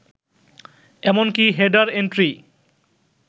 এমনকি header entry